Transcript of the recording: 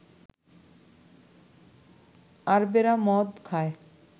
আরবেরা মদ খায়